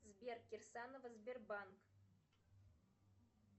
сбер кирсаново сбербанк